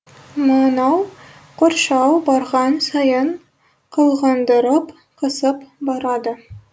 мынау қоршау барған сайын қылғындырып қысып барады